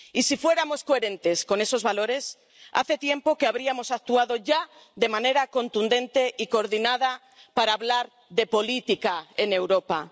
Y si fuéramos coherentes con esos valores hace tiempo que habríamos actuado de manera contundente y coordinada para hablar de política en Europa